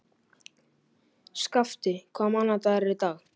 Skafti, hvaða mánaðardagur er í dag?